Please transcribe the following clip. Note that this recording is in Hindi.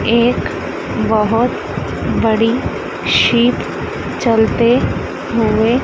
एक बहोत बड़ी शिप चलते हुए--